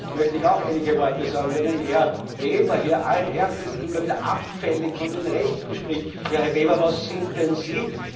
möchte ich auch einige Worte sagen. Wenn ein Herr Weber hier allen Ernstes immer wieder abfällig von den Rechten spricht ja, Herr Weber, was sind denn Sie?